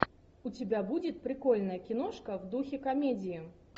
у тебя будет прикольная киношка в духе комедии